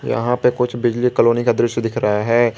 यहां पे कुछ बिजली कॉलोनी का दृश्य दिख रहा है।